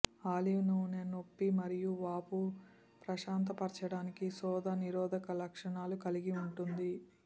olive నూనె నొప్పి మరియు వాపు ప్రశాంతపరచటానికి శోథ నిరోధక లక్షణాలు కలిగి ఉంటుంది